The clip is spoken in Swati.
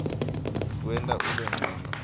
kuwenta ube ncono